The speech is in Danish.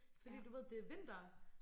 Fordi du ved det vinter